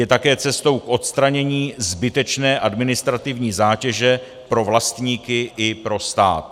Je také cestou k odstranění zbytečné administrativní zátěže pro vlastníky i pro stát.